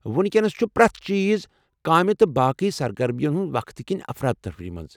وُنکیٚنس چُھ پرٛٮ۪تھ چیز کٲمہِ تہٕ باقی سرگرمین ہنٛدِ وقتہٕ كِنہِ افرا تفری مَنٛز۔